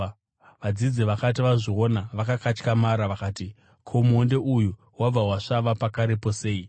Vadzidzi vakati vazviona, vakakatyamara, vakati, “Ko, muonde uyu wabva wasvava pakarepo sei?”